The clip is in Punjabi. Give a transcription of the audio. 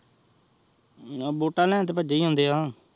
ਨ ਵੋਟਾ ਲੇਨ ਤੇਹ ਭੱਜੇ ਆਉਂਦੇ ਆਹ